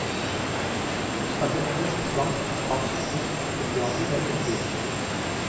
Hun snakker engelsk, fransk, spansk, tysk, punjabi eller hindi.